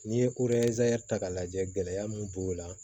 N'i ye ko ta k'a lajɛ gɛlɛya mun b'o la